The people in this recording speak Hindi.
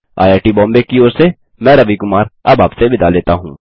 आईआईटी बॉम्बे की ओर से मैं रवि कुमार अब आप से विदा लेता हूँ